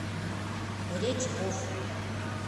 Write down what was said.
редьков